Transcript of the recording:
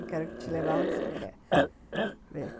Eu quero te levar aonde você quer.